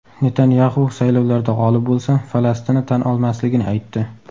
Netanyaxu saylovlarda g‘olib bo‘lsa, Falastinni tan olmasligini aytdi.